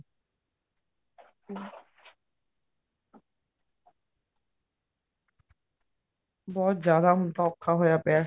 ਬਹੁਤ ਜਿਆਦਾ ਹੁਣ ਤਾਂ ਔਖਾ ਹੋਇਆ ਪਿਆ